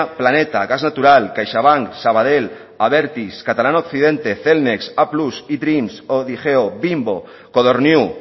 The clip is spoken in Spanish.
planeta gas natural caixabank sabadell abertis catalana occidente cellnex applus edreams odigeo bimbo codorniu